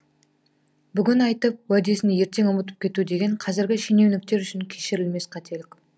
бүгін айтып уәдесін ертең ұмытып кету деген қазіргі шененуніктер үшін кешірілмес қателік